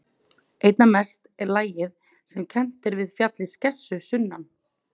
Einna mest er lagið sem kennt er við fjallið Skessu sunnan